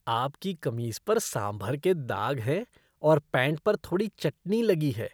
आपकी कमीज पर सांभर के दाग हैं और पैंट पर थोड़ी चटनी लगी है।